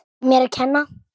Mér að kenna!